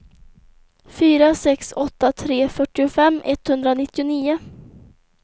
fyra sex åtta tre fyrtiofem etthundranittionio